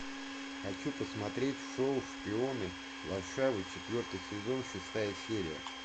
хочу посмотреть шоу шпионы варшавы четвертый сезон шестая серия